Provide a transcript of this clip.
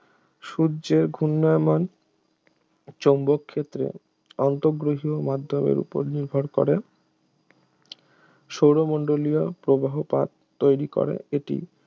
সূর্যের ঘূর্ণায়মান চৌম্বক ক্ষেত্রে আন্তঃগ্রহীয় মাধ্যমের উপর নির্ভর করে সৌরমণ্ডলীয় প্রবাহ পাত তৈরি করে এটি